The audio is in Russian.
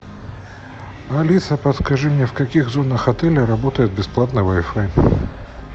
алиса подскажи мне в каких зонах отеля работает бесплатный вай фай